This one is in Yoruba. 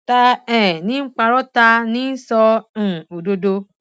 ta um ní ń parọ ta ní ń sọ um òdodo